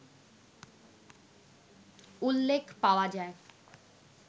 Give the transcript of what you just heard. উল্লেখ পাওয়া যায়